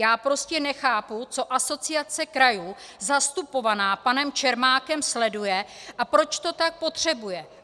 Já prostě nechápu, co Asociace krajů zastupovaná panem Čermákem sleduje a proč to tak potřebuje.